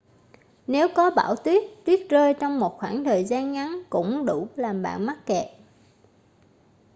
nếu có bão tuyết tuyết rơi trong một khoảng thời gian ngắn cũng đủ làm bạn mắc kẹt